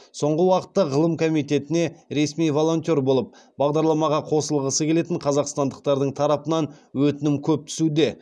соңғы уақытта ғылым комитетіне ресми волонтер болып бағдарламаға қосылғысы келетін қазақстандықтардың тарапынан өтінім көп түсуде